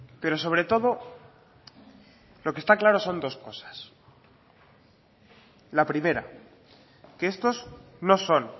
pero sobre todo lo que está claro son dos cosas la primera que estos no son